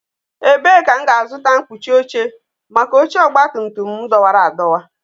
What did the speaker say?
Ebee ka m ga-azụta mkpuchi oche maka oche ọgbatumtum m dọwara adọwa?